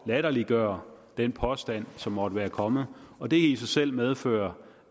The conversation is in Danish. latterliggøre den påstand som måtte være kommet og det i sig selv medfører